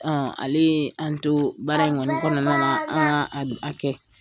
Ale an to baara in kɔnɔna na an ka a kɛ.